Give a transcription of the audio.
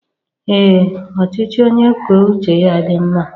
Ee ọchịchị onye kwuo uche ya dị mma.